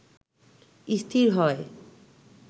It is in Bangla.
স্থির হয়